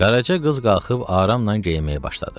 Qaraca qız qalxıb aramla geyinməyə başladı.